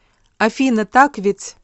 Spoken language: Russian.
афина так ведь